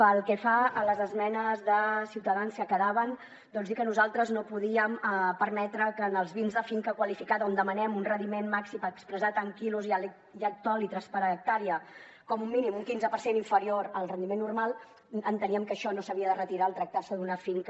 pel que fa a les esmenes de ciutadans que quedaven doncs dir que nosaltres no podíem permetre que en els vins de finca qualificada on demanem un rendiment màxim expressat en quilos i hectolitres per hectàrea com a mínim un quinze per cent inferior al rendiment normal enteníem que això no s’havia de retirar al tractar se d’una finca